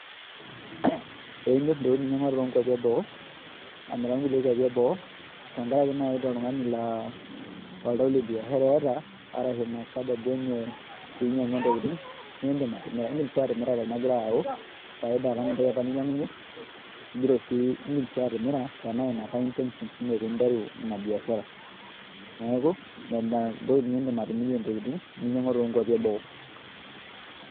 Ee imirr ntokitin ninyiang'ua toonkuapi eboo amiraki kulie kuapi eboo tenkaraki naai itaa oltung'ani laa oltau leniashara eeta arashu ina sababu enye pee inyiang'ua ntokitin iindim sii atimira tenegira ayau faida alang' entoki apa ninyiang'unyie iindim sii atimira tenaa ina apa intentions ino pee interu ina biabiashara neeku ina indim atimirie ntokitin ninyiang'ua toonkuapi eboo.